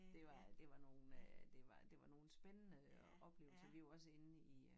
Det var det var nogen øh det var det var nogen spændende oplevelser vi var også inden i øh